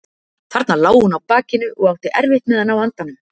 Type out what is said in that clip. Þarna lá hún á bakinu og átti erfitt með að ná andanum.